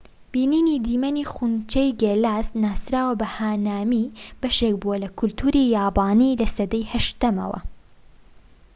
بینینی دیمەنی خونچەی گێلاس ناسراو بە هانامی بەشێك بووە لە کەلتوری یابانی لە سەدەی 8ەمەوە